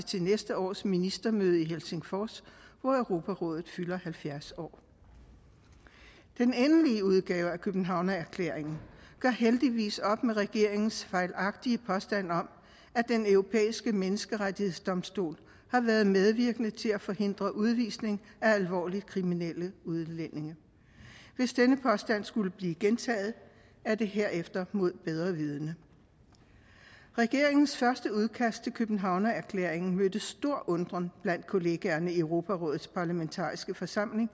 til næste års ministermøde i helsingfors hvor europarådet fylder halvfjerds år den endelige udgave af københavnerklæringen gør heldigvis op med regeringens fejlagtige påstand om at den europæiske menneskerettighedsdomstol har været medvirkende til at forhindre udvisning af alvorligt kriminelle udlændinge hvis denne påstand skulle blive gentaget er det herefter mod bedre vidende regeringens første udkast til københavnerklæringen mødte stor undren blandt kollegaerne i europarådets parlamentariske forsamling